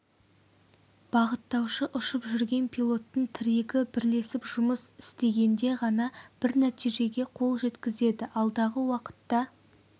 бағыттаушы ұшып жүрген пилоттың тірегі бірлесіп жұмыс ітегенде ғана бір нәтижеге қол жеткізеді алдағы уақытта